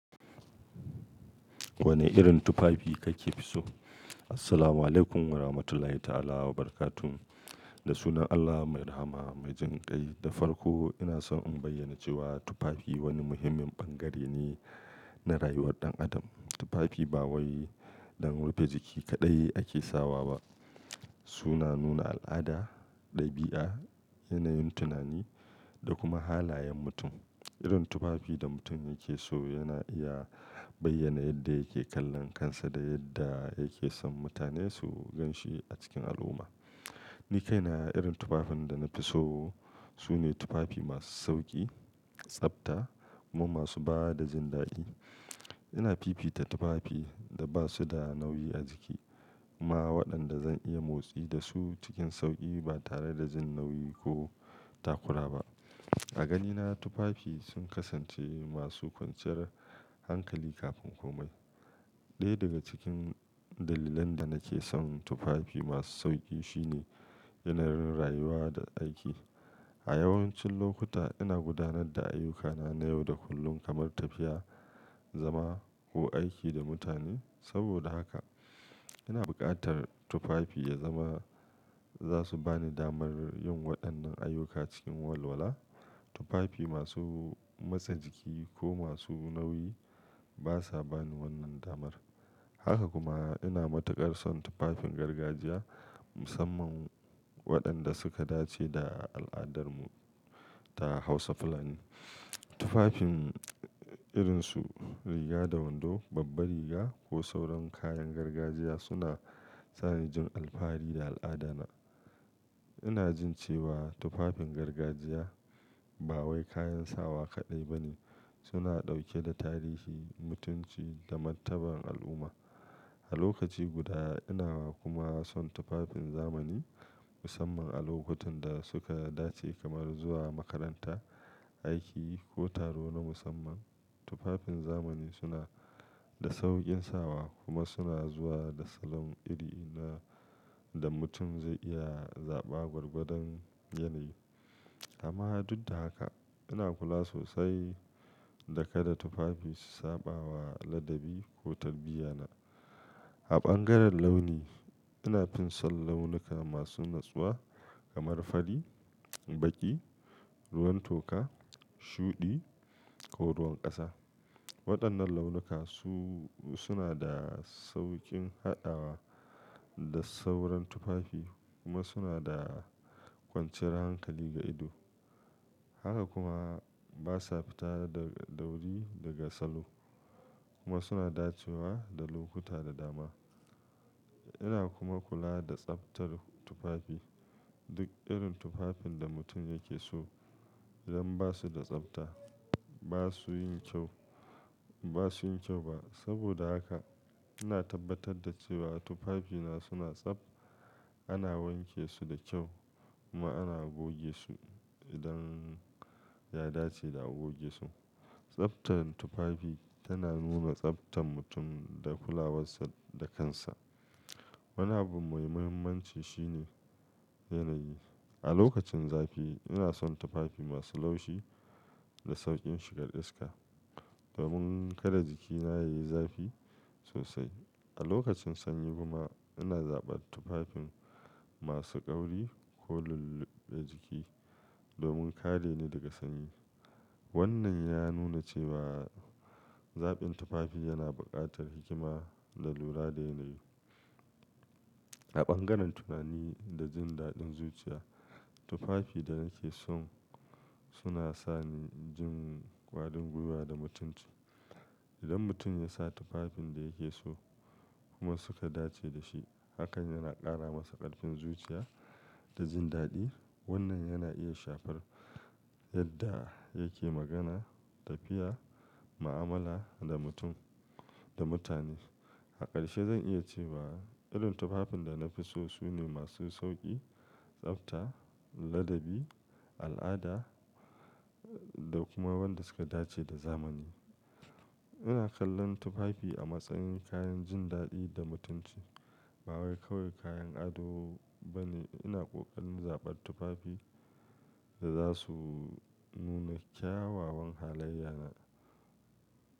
Wane irin tufafi kake so? Assalamualaikum warahmatullahi ta'ala wabarakatuh. Da sunan Allah mai rahama, mai jan kai da farko ina so in bayyana cewa tufafi wani muhimmin bangare ne na rayuwar ɗan adam. Tufafi ba wai don rufe jiki kaɗai ake sawa ba. Suna nuna al'ada, ɗabi'a, yanayin tunani da kuma halayen mutum. Irin tufafi da mutum yake so yana iya bayyana yadda yake kallon kansa da yadda yake son mutane su gan shi a cikin al'umma. Ni kaina irin tufafin da na fi so su ne tufafi masu sauƙi, tsafta kuma masu ba da jin daɗi. Ina fifita tufafi da ba su da nauyi a jiki kuma waɗanda zan iya motsi da su cikin sauƙi ba tare da jin nauyi ko takura ba. A ganina tufafi sun kasance masu kwanciyar hankali kafin komai. Ɗaya daga cikin dalilan da nake son tufafi masu sauƙi shine yanayin rayuwa da aiki. A yawancin lokuta ina gudanar da ayyukana na yau da kullun kamar tafiya, zama ko aiki da mutane. Saboda haka ina buƙatar tufafi ya zama za su ba ni damar yin waɗannan ayyuka cikin walwala. Tufafi masu masa jiki ko masu nauyi basa bani wannan damar. Haka kuma ina matuƙar son tufafin gargajiya musamman waɗanda suka dace da al'adarmu ta Hausa fulani. Tufafin irinsu riga da wando, babba riga ko sauran kayan gargajiya suna sa ni jin alfahari da al'adana. Ina jin cewa tufafin gargajiya ba wai kayan sawa kaɗai ba ne. Suna ɗauke da tarihi, mutunci da mantabar al'umma. A lokaci guda ina kuma son tufafin zamani musamman a lokutan da suka dace kamar zuwa makaranta, aiki ko taro na musamman. Tufafin zamani suna da sauƙin sawa kuma suna zuwa da salon iri ina da mutum zai iya zaɓa gwargwadon yanayi. Amma duk da haka ina kula sosai da kada tufafi su saba wa ladabi ko tarbiyyana. A bangaren launi ina finson launuka masu natsuwa kamar fari, baƙi, ruwan toka, shuɗi ko ruwan ƙasa. Waɗannan launuka su suna da sauƙin haɗawa da sauran tufafi kuma suna da kwanciyar hankali ga ido. Haka kuma basa fita daga dauri daga salo kuma suna dacewa da lokuta da dama. Ina kuma kula da tsaftar tufafi. Duk irin tufafin da mutum yake so idan basu da tsafta basu yin kyau, basu yin kyau ba. Saboda haka ina tabbatar da cewa tufafina suna tsaf. Ana wanke su da kyau kuma ana goge su idan ya dace da a goge su. Tsaftar tufafi tana nuna tsaftar mutum da kulawarsa da kansa. Wani abu mai muhimmanci shine yanayi. A lokacin zafi ina son tufafi masu laushi da sauƙin shigar iska domin kada jikina yayi zafi sosai. A lokacin sanyi kuma ina zaɓar tufafin masu ƙauri ko lulluɓe jiki domin kare ni daga sanyi. Wannan ya nuna cewa zaɓin tufafi yana buƙatar hikima da lura da yanayi. A bangaren tunani da jin daɗin zuciya, tufafi da nake son suna sa ni jin ƙwarin gwiwa da mutunci. Idan mutum ya sa tufafin da yake so kuma suka dace da shi hakan yana ƙara masa ƙarfin zuciya da jin daɗi. Wannan yana iya shafar yadda yake magana, tafiya, mu'amala da mutum da mutane. A ƙarshe zan iya cewa irin tufafin da na fi so su ne masu sauƙi, tsafta, ladabi, al'ada da kuma waɗanda suka dace da zamani. Ina kallon tufafi a matsayin kayan jin daɗi da mutunci ba wai kawai kayan ado ba ne. Ina ƙoƙarin zaɓar tufafi da za su nuna kyawawan halayya na.